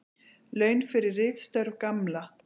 Laun fyrir ritstörf Gamla.